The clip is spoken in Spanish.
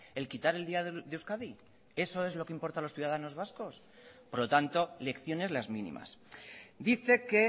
el quitar el día de euskadi eso es lo que importa a los ciudadanos vascos por lo tanto lecciones las mínimas dice que